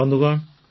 ସାଥୀଗଣ